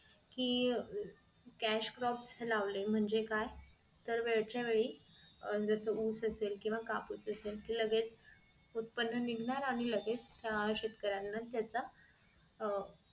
कि cash crop जर लावले म्हणजे काय तर वेळच्यावेळी जस ऊस असेल केंव्हा कापूस असेल कि लगेच कि उत्पन्न निघणार आणि लगेच शेतकऱ्यांना त्याचा अह